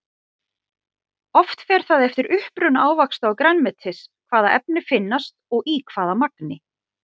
Oft fer það eftir uppruna ávaxta og grænmetis hvaða efni finnast og í hvaða magni.